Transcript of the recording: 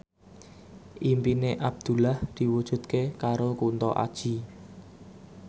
impine Abdullah diwujudke karo Kunto Aji